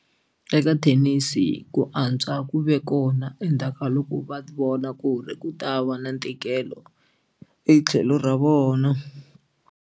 Eka thenisi ku antswa ku ve kona endzhaku ka loko va vona ku ri ku ta va na ntikelo hi tlhelo ra vona.